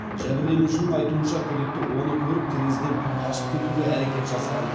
жәбірленушінің айтуынша күдікті оны көріп терезеден қашып кетуге әрекет жасаған